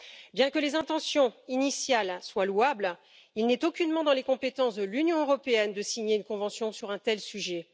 Bien que les intentions initiales soient louables, il n'est aucunement dans les compétences de l'Union européenne de signer une convention sur un tel sujet.